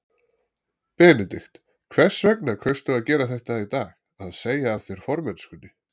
Benedikt, hvers vegna kaustu að gera þetta í dag, að segja af þér formennskunni?